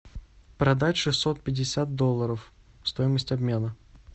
продать шестьсот пятьдесят долларов стоимость обмена